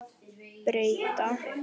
Breyta til.